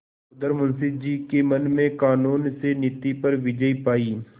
उधर मुंशी जी के मन ने कानून से नीति पर विजय पायी